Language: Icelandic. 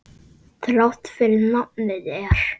Þrátt fyrir nafnið er.